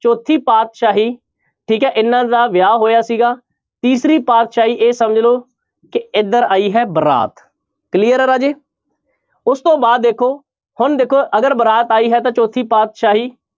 ਚੌਥੀ ਪਾਤਿਸ਼ਾਹੀ ਠੀਕ ਹੈ ਇਹਨਾਂ ਦਾ ਵਿਆਹ ਹੋਇਆ ਸੀਗਾ, ਤੀਸਰੀ ਪਾਤਿਸ਼ਾਹੀ ਇਹ ਸਮਝ ਲਓ ਕਿ ਇੱਧਰ ਆਈ ਹੈ ਬਾਰਾਤ clear ਹੈ ਰਾਜੇ, ਉਸ ਤੋਂ ਬਾਅਦ ਦੇਖੋ ਹੁਣ ਦੇਖੋ ਅਗਰ ਬਾਰਾਤ ਆਈ ਹੈ ਤਾਂ ਚੌਥੀ ਪਾਤਿਸ਼ਾਹੀ